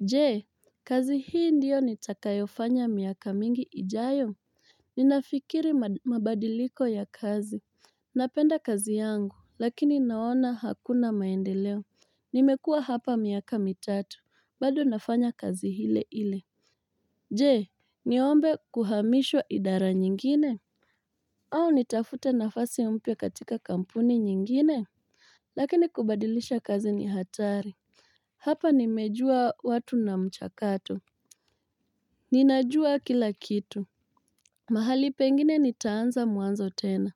Je kazi hii ndio nitakayofanya miaka mingi ijayo Ninafikiri mabadiliko ya kazi Napenda kazi yangu lakini naona hakuna maendeleo Nimekuwa hapa miaka mitatu bado nafanya kazi hile ile Je niombe kuhamishwa idara nyingine au nitafute nafasi mpya katika kampuni nyingine Lakini kubadilisha kazi ni hatari Hapa nimejua watu na mchakato Ninajua kila kitu, mahali pengine nitaanza mwanzo tena,